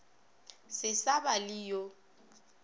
se sa ba le yo